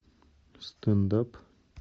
стенд ап